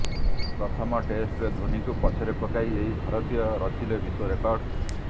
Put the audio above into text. ପ୍ରଥମ ଟେଷ୍ଟରେ ଧୋନୀଙ୍କୁ ପଛରେ ପକାଇ ଏହି ଭାରତୀୟ ରଚିଲେ ବିଶ୍ୱ ରେକର୍ଡ